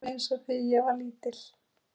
alveg eins og þegar ég var lítil.